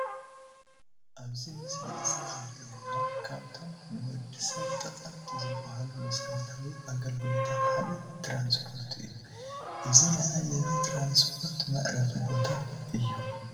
ኣብዚ ምስሊ እዚ ዘሪኤና ካብቶም ንወዲ ሰብ ተቐምቲ ዝባሃሉ መሰረታዊ ኣገልግሎታት ሓደ ትራንስፖርት እዩ፡፡ እዚ ናይ ኣየር ትራንስፖርት መዕረፊ ቦታ እዩ፡፡